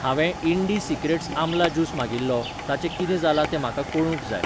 हांवें ईंडीसिक्रेट्स आमला ज्यूस मागिल्लो ताचें कितें जालां तें म्हाका कळूंक जाय.